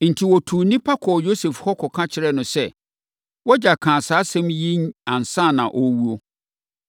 Enti, wɔtuu nnipa kɔɔ Yosef hɔ kɔka kyerɛɛ no sɛ, “Wʼagya kaa saa asɛm yi ansa na ɔrewu.